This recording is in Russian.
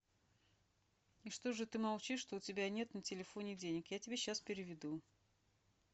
и что же ты молчишь что у тебя нет на телефоне денег я тебе сейчас переведу